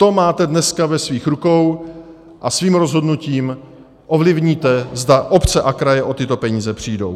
To máte dneska ve svých rukou a svým rozhodnutím ovlivníte, zda obce a kraje o tyto peníze přijdou.